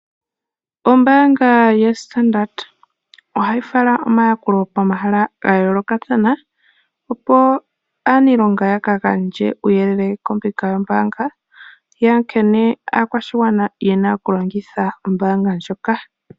Ombaanga yoStandrd ohayi fala omayakulo pomahala ga yoolokathana opo wo aanilonga ya ka gandje uuyelele kombinga yombaanga yankene aakwashigwana yena okulongitha ombaanga ndjoka.